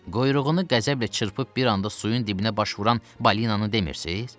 Quyruğunu qəzəblə çırpıb bir anda suyun dibinə baş vuran balinanı demirsiz?